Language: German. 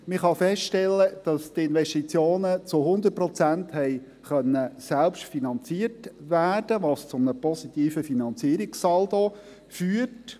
Man kann feststellen, dass die Investitionen zu 100 Prozent selbst finanziert werden konnten, was zu einem positiven Finanzierungssaldo führt.